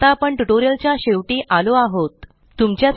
आता आपण ट्यूटोरियल च्या शेवटी आलो आहोत